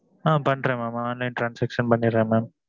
ஆ பண்ணுறன் online transaction பண்ணிறேன் mam